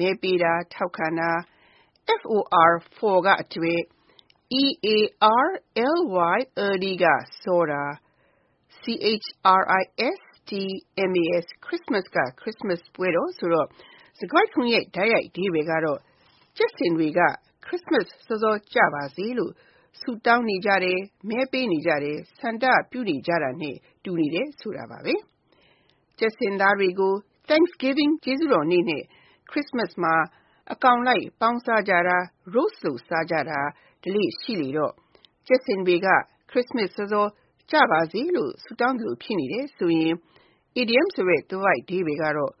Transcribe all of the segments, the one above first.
မဲပေးတာ ၊ ထောက်ခံတာ)၊ for (အတွက်)၊ early (စောစော)၊ Christmas (ခရစ်စမတ်) ဆိုတော့ စကားစုတခုလုံးရဲ့ တိုက်ရိုက်အဓိပ္ပါယ်ကတော့ ကြက်ဆင်တွေက ခရစ်စမတ် စောစောကျရောက်ပါစေလို့ ဆုတောင်းနေကြတယ်၊ မဲပေးနေကြတယ်၊ ဆန္ဒပြုကြတယ်ဆိုတာပါဘဲ။ ကြက်ဆင်တွေကို Thanksgiving (ကျေးဇူးတော်နေ့) နဲ့ ခရစ်စမတ်မှာ အကောင်လိုက်ပေါင်းစားကြတာ၊ roast လုပ်စားကြတာတွေ ရှိလေတော့ ကြက်ဆင်တွေက ခရစ်စမတ်စောစောကျပါစေလို့ ဆုတောင်းသလို ဖြစ်နေတယ်ဆိုရင် အီဒီယံသွယ်ဝိုက်အဓိပ္ပါယ်ကတော့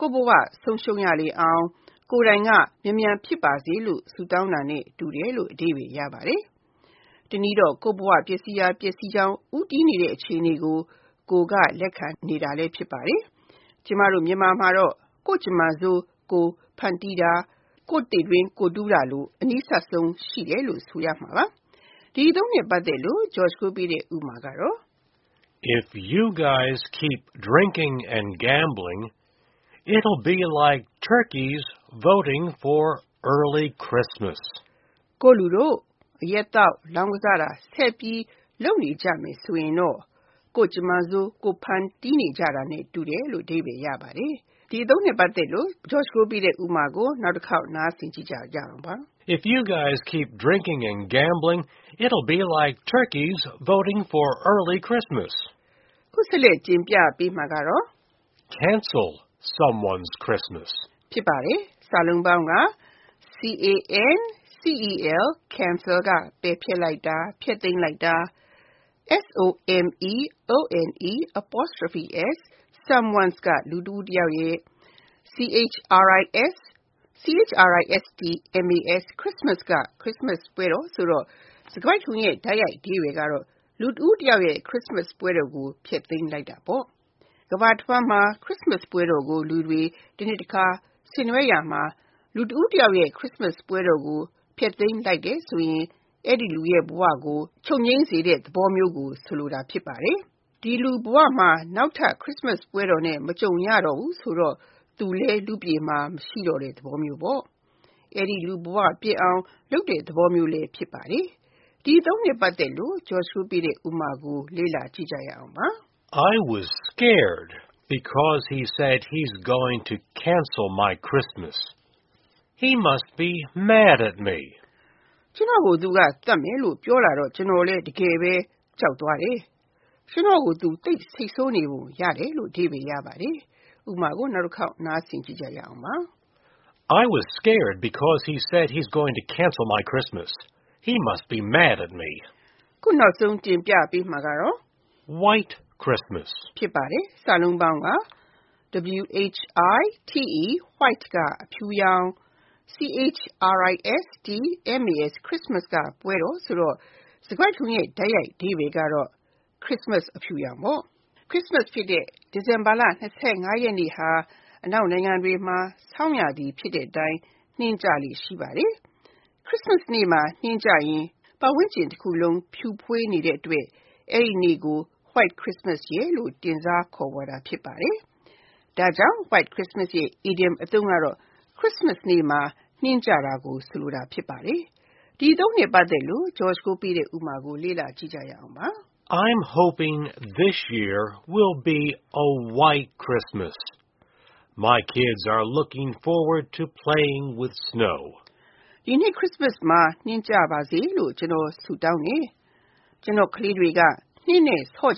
ကိုယ့်ဘဝဆုံးရှုံးရလေအောင် ကိုယ်တိုင်က မြန်မြန်ဖြစ်ပါစေလို့ ဆုတောင်းတာနဲ့ တူတယ်လို့ အဓိပ္ပါယ်ရပါတယ်။ တနည်းတော့ ကိုယ့်ဘဝ ပျက်စီးရာပျက်စီးကြောင်း ဦးတည်နေတဲ့ အခြေအနေကို ကိုယ်ကလက်ခံနေတာလည်း ဖြစ်ပါတယ်။ မြန်မာမှာတော့ ကိုယ့်ကြမ္မာဆိုး ကိုယ်ဖန်တီးတာ၊ ကိုယ့်သေတွင်း ကိုယ်တူးတာစသဖြင့်အသုံးတွေနှင့်နီးစပ်တယ်လို့ဆိုရမှာပါ။ ဒီအသုံးနှင့်ပတ်သက်တဲ့ ဥပမာကို လေ့လာကြည့်ရအောင်ပါ။ If you guys keep drinking and gambling, it will be like turkeys voting for early Christmas. ကိုယ့်လူတို့ အရက်သောက်၊ လောင်းကစားတာ ဆက်ပြီးလုပ်နေကြမယ်ဆိုရင်တော့ ကိုယ့်ကြမ္မာဆိုး ကိုယ်ဖန်တီးကြနေတာနဲ့ တူလိမ့်မယ်။ (၂) Cancel Someone's Christmas Cancel (ပယ်ဖျက်လိုက်တာ ၊ ဖျက်သိမ်းလိုက်တာ)၊ someone's (လူတဦးတယောက်ရဲ့)၊ Christmas (ခရစ်စမတ်ပွဲ) ဆိုတော့ စကားစုတခုလုံးရဲ့ တိုက်ရိုက်အဓိပ္ပါယ်ကတော့ လူတဦးတယောက်ရဲ့ ခရစ်စမတ်ပွဲတော်ကို ဖျက်သိမ်းလိုက်တာပေါ့။ ကမ္ဘာတဝှမ်းမှာတနှစ်မှတခါသာကျရောက်တဲ့ ခရစ်စမတ်ပွဲတော်ကို ဆင်နွှဲရာမှာ လူတဦးတယောက်ရဲ့ ခရစ်စမတ်ပွဲတော်ကို ဖျက်သိမ်းလိုက်တယ်ဆိုရင် အဲဒီလူရဲ့ ဘဝကို ချုပ်ငြိမ်းစေတဲ့ သဘောမျိုးကို ဆိုလိုတာဖြစ်ပါတယ်။ ဒီလူဘဝမှာ နောက်ထပ် ခရစ်စမတ်ပွဲတော်နဲ့ မကြုံရတော့ဘူးဆိုတော့၊ အဲဒီလူလည်း လူ့ပြည်မှာ မရှိတော့တဲ့သဘောမျိုးဖြစ်ပါတယ်။ အဲဒီလူ ဘဝပျက်အောင်လုပ်တဲ့ သဘောမျိုးလည်း ဖြစ်ပါတယ်။ ဒီအသုံးနှင့်ပတ်သက်တဲ့ ဥပမာကို လေ့လာကြည့်ရအောင်ပါ။ I was scared because he said he is going to cancel my Christmas! He must be mad at me! ကျနော်ကို သူက သတ်မယ်လို့ ပြောလာတော့ ကျနော်လည်း တကယ်ပဲ ကြောက်သွားတယ်။ ကျနော်ကို သူသိပ်ဒေါသထွက်နေပုံရတယ်။ (၃) White Christmas White (အဖြူရောင်)၊ Christmas (ခရစ်စမတ်ပွဲတော်) ဆိုတော့ စကားစုတခုလုံးရဲ့ တိုက်ရိုက်အဓိပ္ပါယ်က ခရစ်စမတ်အဖြူရောင်ဖြစ်ပါတယ်။ ခရစ်စမတ်ဖြစ်တဲ့ ဒီဇင်ဘာလ (၂၅) ရက်နေ့ဟာ အနောက်နိုင်ငံတွေမှာ ဆောင်းရာသီဖြစ်တဲ့အတိုင်း နှင်းကျလေ့ ရှိပါတယ်။ ခရစ်စမတ်နေ့မှာ နှင်းကျရင် ပတ်ဝန်းကျင်တခုလုံး ဖြူဖွေးနေတဲ့အတွက် အဲဒီနေ့ကို White Christmas လို့ တင်စားခေါ်ဝေါ်ကြတာ ဖြစ်ပါတယ်။ ဒါကြောင့် White Christmas ရဲ့ အီဒီယံအသုံးအနှုန်းက ခရစ်စမတ်နေ့မှာ နှင်းကျတာကို ဆိုလိုတာ ဖြစ်ပါတယ်။ တနည်းအားဖြင့် နှင်းတွေဖွေးနေတဲ့ ခရစ်စမတ်ပွဲတော်ဖြစ်ပါတယ်။ ဒီအသုံးနှင့်ပတ်သက်တဲ့ ဥပမာကို လေ့လာကြည့်ရအောင်ပါ။ I’m hoping this year will be a white Christmas. My kids are looking forward to playing with the snow! ဒီနှစ် ခရစ်စမတ်မှာ နှင်းကျပါစေလို့ ကျနော် ဆုတောင်းတယ်။ ကျနော့် ကလးတွေက နှင်းနဲ့ ဆော့က